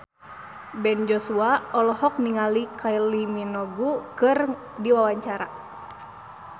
Ben Joshua olohok ningali Kylie Minogue keur diwawancara